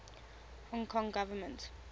hong kong government